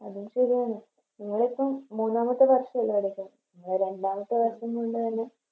അതും ശെരിയാണ് നിങ്ങളിപ്പോ മൂന്നാമത്തെ വർഷല്ലേ നടക്കുന്നെ ഇവിടെ രണ്ടാമത്തെ വർഷം Full കഴിഞ്ഞു